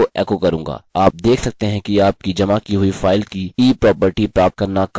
आप देख सकते हैं कि आपकी जमा की हुई फाइल की eproperty प्राप्त करना काफी सरल है